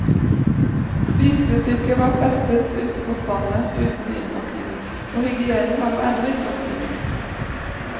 Spisebestikket var festet utenpå spannet, uten innpakning, for hygienen var jo ennå ikke oppfunnet.